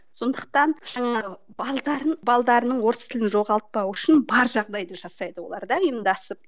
сондықтан жаңағы орыс тілін жоғалпауы үшін бар жағдайды жасайды олар да ұйымдасып